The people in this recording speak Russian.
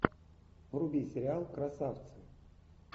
вруби сериал красавцы